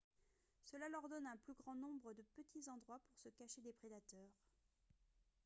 cela leur donne un plus grand nombre de petits endroits pour se cacher des prédateurs